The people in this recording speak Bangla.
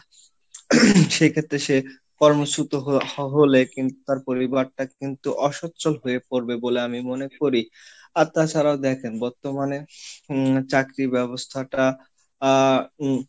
সেক্ষেত্রে সে কর্মচ্যুত হলে কিন্তু তার পরিবারটা কিন্তু অসচ্ছল হয়ে পড়বে বলে আমি মনে করি, আর তাছাড়া দেখেন বর্তমানে চাকরি ব্যবস্থাটা আহ উম,